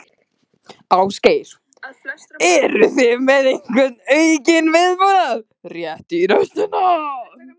Ásgeir: Eruð þið með einhvern aukinn viðbúnað, rétt í restina?